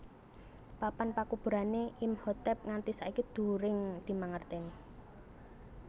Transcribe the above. Papan pakuburané Imhotep nganti saiki during dimangertèni